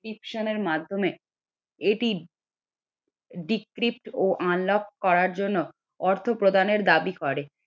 এর মাধ্যমে এটি ও unlock করার জন্য অর্থ প্রদানের দাবি করে